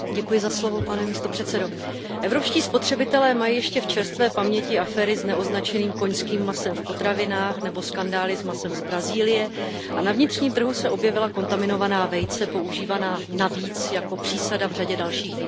Pane předsedající, evropští spotřebitelé mají ještě v čerstvé paměti aféry s neoznačeným koňským masem v potravinách nebo skandály s masem z Brazílie a na vnitřním trhu se objevila kontaminovaná vejce používaná navíc jako přísada v řadě dalších výrobků.